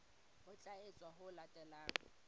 ho tla etswa ho latela